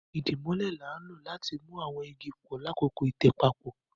idimole ní a lò láti mú àwọn ìgi pọ lakọkọ itẹ papọ